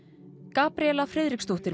Gabríela Friðriksdóttir